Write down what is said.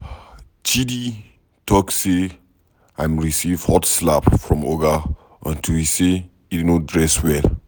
Chidi talk say im receive hot slap from Oga unto say he no dress well.